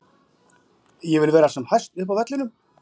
Ég vil vera sem hæst upp á vellinum.